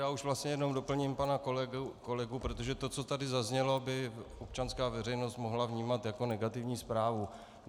Já už vlastně jenom doplním pana kolegu, protože to, co tady zaznělo, by občanská veřejnost mohla vnímat jako negativní zprávu.